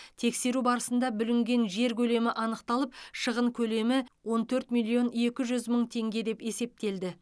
тексеру барысында бүлінген жер көлемі анықталып шығын көлемі он төрт миллион екі жүз мың теңге деп есептелді